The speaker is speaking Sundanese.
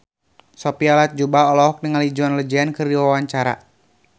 Sophia Latjuba olohok ningali John Legend keur diwawancara